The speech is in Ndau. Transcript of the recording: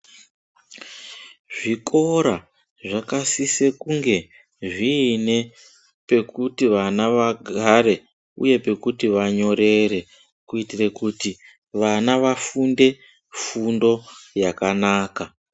Zvikora zvakasise kunge zvine pakuti vana vagare uye pekuti vanyorore kuitira kuti vana vafunde fundo yakanaka